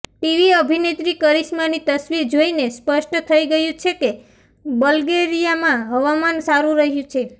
TV અભિનેત્રી કરિશ્માની તસવીર જોઈને સ્પષ્ટ થઈ ગયું છે કે બલ્ગેરિયામાં હવામાન સારું રહ્યું છે